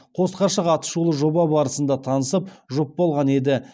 қос ғашық атышулы жоба барысында танысып жұп болған еді